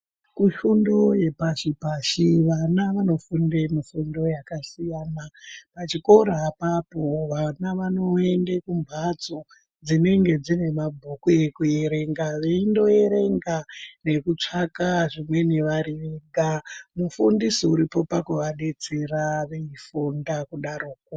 Kufundo yepashi pashi vana vanofunde mifundo yakasiyana. Pachikora apapo vana vanoende kumbatso dzinenge dzinemabhuku ekuerenga veindoerenga nekutsvaka zvimweni vari vega. Mufundisi uripo pakuvadetsera vechikufunda kudaroko.